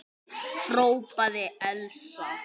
hrópaði Elsa.